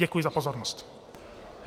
Děkuji za pozornost.